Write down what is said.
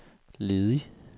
ledig